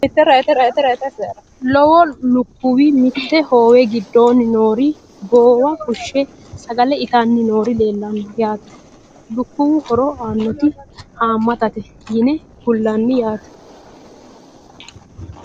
Lowo lukkuwi mitte hoowe gidoonni noori goowa fushshe sagale ittanni noori leelanno yaatte. Lukkuwu horo aannotti haamattate yinne kulanni yaatte